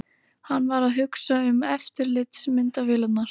Hann var að hugsa um eftirlitsmyndavélarnar.